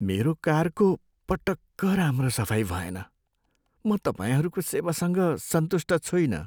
मेरो कारको पटक्क राम्रो सफाइ भएन। म तपाईँहरूको सेवासँग सन्तुष्ट छुइनँ।